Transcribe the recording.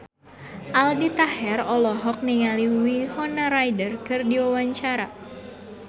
Aldi Taher olohok ningali Winona Ryder keur diwawancara